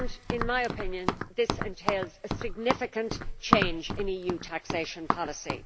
In my opinion, this entails a significant change in EU taxation policy.